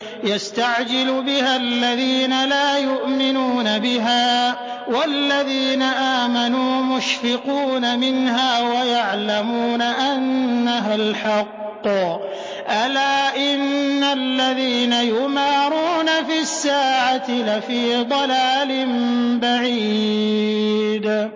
يَسْتَعْجِلُ بِهَا الَّذِينَ لَا يُؤْمِنُونَ بِهَا ۖ وَالَّذِينَ آمَنُوا مُشْفِقُونَ مِنْهَا وَيَعْلَمُونَ أَنَّهَا الْحَقُّ ۗ أَلَا إِنَّ الَّذِينَ يُمَارُونَ فِي السَّاعَةِ لَفِي ضَلَالٍ بَعِيدٍ